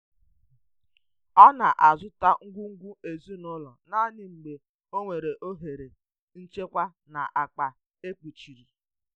Ọ na-azụta ngwugwu ezinụlọ naanị mgbe o nwere ohere nchekwa na akpa e kpochiri.